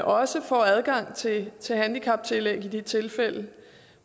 også får adgang til til handicaptillæg i de tilfælde